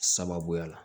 Sababuya la